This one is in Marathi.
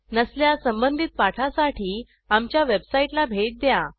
नसल्यास संबंधित पाठासाठी आमच्या वेबसाईटला भेट द्या